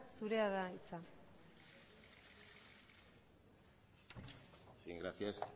zurea da hitza bien gracias